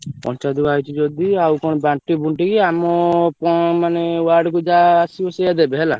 ପଞ୍ଚାୟତ କୁ ଆଇଛି ଯଦି ଆଉ କଣ ବାଣ୍ଟି ବୁନଟୀ କି ଆମ କଣ ମାନେ ward କୁ ଯାହା ଆସିବ ସେଇଆ ଦେବେ ହେଲା।